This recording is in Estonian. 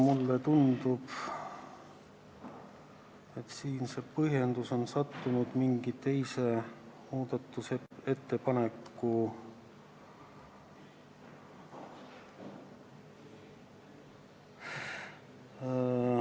Mulle tundub, et see põhjendus on sattunud mingi teise muudatusettepaneku juurde ...